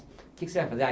O que que você vai fazer?